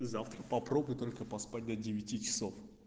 завтра попробуй только поспать до девяти часов